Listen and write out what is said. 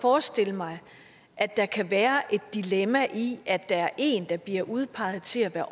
forestille mig at der kan være et dilemma i at der er en der bliver udpeget til at